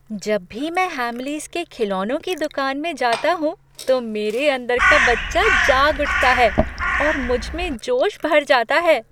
जब भी मैं हैमलीज़ के खिलौनों की दुकान में जाता हूँ तो मेरे अंदर का बच्चा जाग उठता है और मुझ में जोश भर जाता है!